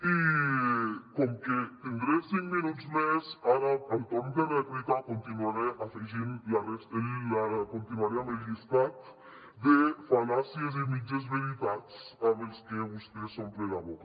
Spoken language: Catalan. i com que tindré cinc minuts més ara al torn de rèplica continuaré amb el llistat de fal·làcies i mitges veritats amb les que vostè s’omple la boca